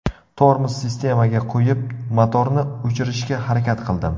Tormoz sistemaga qo‘yib, motorni o‘chirishga harakat qildim.